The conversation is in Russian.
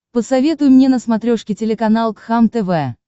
посоветуй мне на смотрешке телеканал кхлм тв